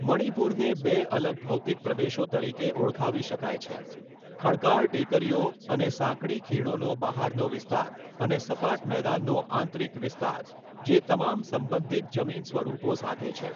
મણિપુરને બે અલગ ભૌતિક પ્રદેશો તરીકે ઓળખાવી શકાય છેઃ ખડકાળ ટેકરીઓ અને સાંકડી ખીણોનો બહારનો વિસ્તાર અને સપાટ મેદાનનો આંતરિક વિસ્તાર, જે તમામ સંબંધિત જમીનસ્વરૂપો સાથે છે.